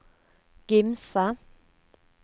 Gimse